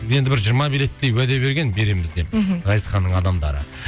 енді бір жиырма билеттей уәде берген береміз деп мхм ғазизханның адамдары